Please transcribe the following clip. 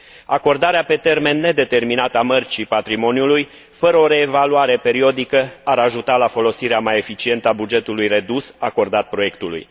Acordarea pe termen nedeterminat a Mărcii patrimoniului, fără o reevaluare periodică, ar ajuta la folosirea mai eficientă a bugetului redus acordat proiectului.